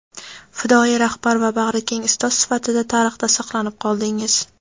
fidoyi rahbar va bag‘rikeng ustoz sifatida tarixda saqlanib qoldingiz.